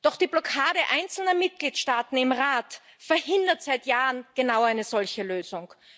Doch die Blockade einzelner Mitgliedstaaten im Rat verhindert seit Jahren genau eine solche Lösung.